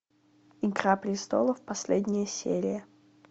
игра престолов последняя серия